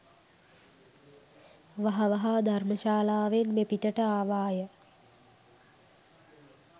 වහ වහා ධර්ම ශාලාවෙන් මෙපිටට ආවාය